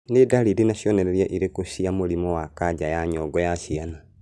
Nĩ ndariri na cionereria irĩkũ cia mũrimũ wa kanja ya nyongo ya ciana